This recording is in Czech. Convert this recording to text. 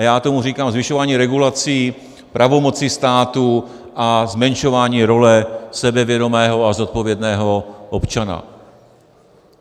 A já tomu říkám zvyšování regulací, pravomocí státu a zmenšování role sebevědomého a zodpovědného občana.